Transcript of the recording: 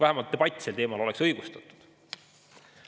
Vähemalt debatt sel teemal oleks õigustatud.